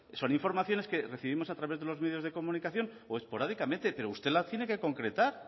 son informaciones que recibimos a través de los medios de comunicación o esporádicamente pero usted la tiene que concretar